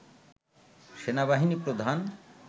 সেনাবাহিনী প্রধান